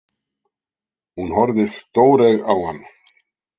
Hún horfði stóreyg á hann.